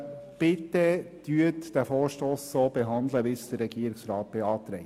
Bitte behandeln Sie den Vorstoss so, wie es der Regierungsrat beantragt.